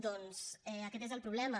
doncs aquest és el problema